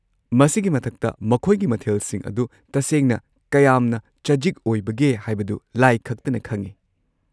ꯃꯁꯤꯒꯤ ꯃꯊꯛꯇ, ꯃꯈꯣꯏꯒꯤ ꯃꯊꯦꯜꯁꯤꯡ ꯑꯗꯨ ꯇꯁꯦꯡꯅ ꯀꯌꯥꯝꯅ ꯆꯖꯤꯛ ꯑꯣꯏꯕꯒꯦ ꯍꯥꯏꯕꯗꯨ ꯂꯥꯏ ꯈꯛꯇꯅ ꯈꯪꯏ꯫